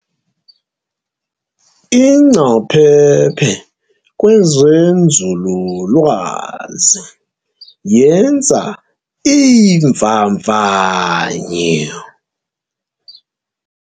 Ingcaphephe kwezenzululwazi yenza iimvavanyo.